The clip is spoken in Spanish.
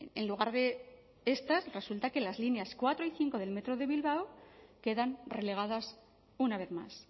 en lugar de estas resulta que las líneas cuatro y cinco del metro de bilbao quedan relegadas una vez más